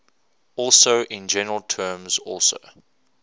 also in general terms also